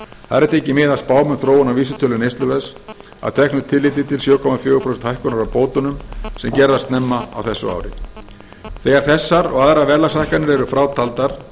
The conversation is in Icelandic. þar er tekið mið af spám um þróun á vísitölu neysluverðs að teknu tilliti til sjö komma fjögurra prósenta hækkunar á bótunum sem gerð var snemma á þessu ári þegar þessar og aðrar verðlagshækkanir eru frátaldar og að